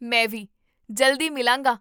ਮੈਂ ਵੀ, ਜਲਦੀ ਮਿਲਾਂਗਾ!